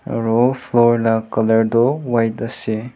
aro floor la colour doh white ase.